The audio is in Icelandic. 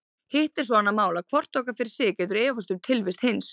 Hitt er svo annað mál að hvort okkar fyrir sig getur efast um tilvist hins.